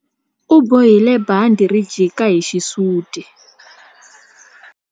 U bohile bandhi ri jika hi xisuti.